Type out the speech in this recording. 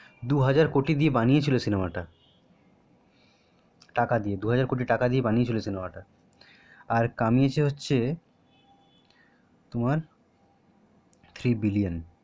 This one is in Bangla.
দু হাজার কোটি দিয়ে বানিয়েছিল সিনেমাটা টাকা দিয়ে দু হাজার কোটি দিয়ে বানিয়েছিল সিনেমাটা আর কামিয়েছে হচ্ছে one three billion